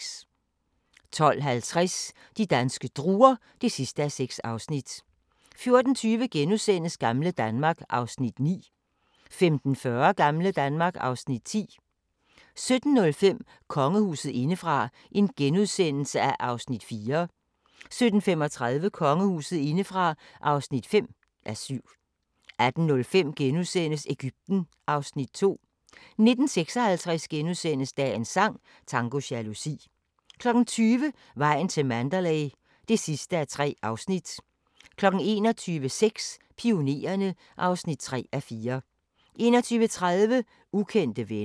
12:50: De danske druer (6:6) 14:20: Gamle Danmark (Afs. 9)* 15:40: Gamle Danmark (Afs. 10) 17:05: Kongehuset indefra (4:7)* 17:35: Kongehuset indefra (5:7) 18:05: Egypten (Afs. 2)* 19:56: Dagens sang: Tango jalousi * 20:00: Vejen til Mandalay (3:3) 21:00: Sex: Pionererne (3:4) 21:30: Ukendte venner